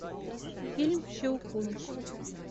фильм щелкунчик